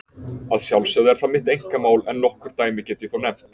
Að sjálfsögðu er það mitt einkamál, en nokkur dæmi get ég þó nefnt.